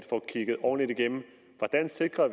får kigget ordentligt igennem hvordan vi sikrer